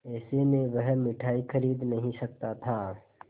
ऐसे में वह मिठाई खरीद नहीं सकता था